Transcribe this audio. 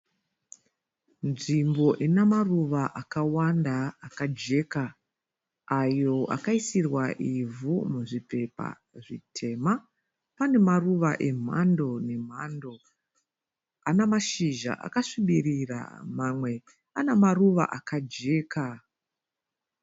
Nzvimbo ina maruva akawanda akajeka ayo akaisirwa ivhu muzvipepa zvitema. Pane maruva emhando nemhando ana mashizha akazvibirira mamwe ana maruva akajeka.